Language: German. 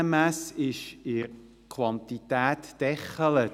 Die NMS ist in der Quantität gedeckelt.